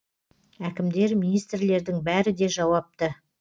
әкімдер министрлердің бәрі де жауапты